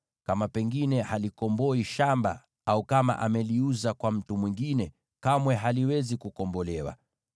Kama pengine halikomboi shamba hilo, au kama ameliuza kwa mtu mwingine, kamwe haliwezi kukombolewa.